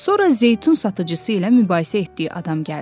Sonra zeytun satıcısı ilə mübahisə etdiyi adam gəldi.